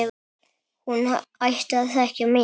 Hún ætti að þekkja mig!